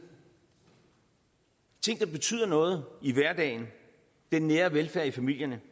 ting der betyder noget i hverdagen den nære velfærd i familierne